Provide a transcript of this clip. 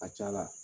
A ka ca la